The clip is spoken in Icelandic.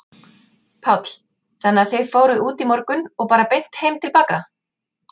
Páll: Þannig að þið fóruð út í morgun og bara beint heim til baka?